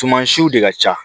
Suman siw de ka ca